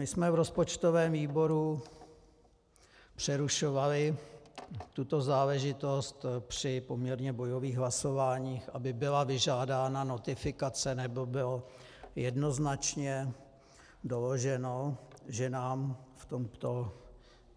My jsme v rozpočtovém výboru přerušovali tuto záležitost při poměrně bojových hlasováních, aby byla vyžádána notifikace nebo bylo jednoznačně doloženo, že nám v tomto